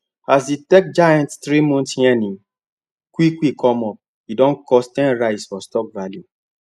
as the tech giants three months earning quick quick come up e don cause ten rise for stock value